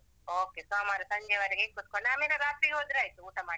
Okay ಸೋಮವಾರ ಸಂಜೆವರೆಗೆ ಕುತ್ಕೊಂಡು ಆಮೇಲೆ ರಾತ್ರಿ ಹೋದ್ರೆ ಆಯ್ತು ಊಟ ಮಾಡಿ.